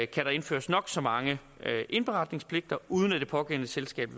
kan der indføres nok så mange indberetningspligter uden at det pågældende selskab